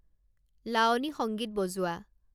লাৱনী সংগীত বজোৱা